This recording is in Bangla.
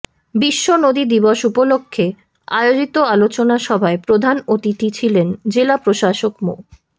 বিশ্ব নদী দিবস উপলক্ষে আয়োজিত আলোচনা সভায় প্রধান অতিথি ছিলেন জেলা প্রশাসক মো